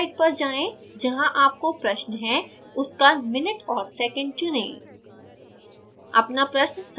इस site पर जाएँ जहाँ आपको प्रश्न है उसका minute और second चुनें